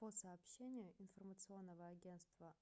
по сообщению информационного агентства